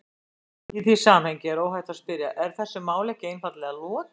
Í því samhengi er óhætt að spyrja: Er þessu máli ekki einfaldlega lokið?